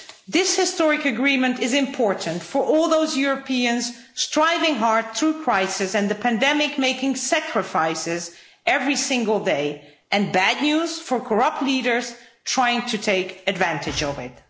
This historic agreement is important for all those Europeans striving hard through crisis and the pandemic, making sacrifices every single day, and bad news for corrupt leaders trying to take advantage of it.